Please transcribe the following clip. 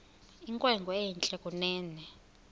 inkwenkwe entle kunene